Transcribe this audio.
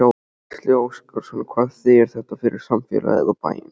Gísli Óskarsson: Hvað þýðir þetta fyrir samfélagið, og bæinn?